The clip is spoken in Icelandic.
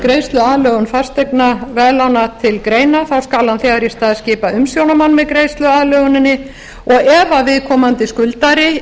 greiðsluaðlögun fasteignaveðlána til greina þá skal hann þegar í stað skipa umsjónarmenn með greiðsluaðlöguninni og ef viðkomandi skuldari